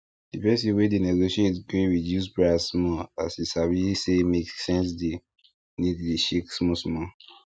di person wey dey negotiate gree reduce price small as e sabi say make sense deal need dey shake smallsmall